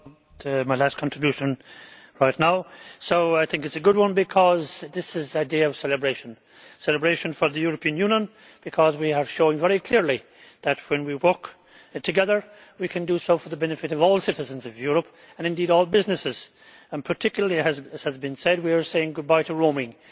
Madam President, this is my last contribution right now. So I think it is a good one because this is a day of celebration celebration for the European Union, because we have shown very clearly that, when we work together, we can do so for the benefit of all citizens of Europe and indeed all businesses and particularly, as has been said, we are saying goodbye to roaming.